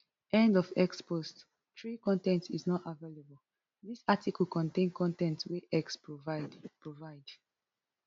end of x post three con ten t is not available dis article contain con ten t wey x provide provide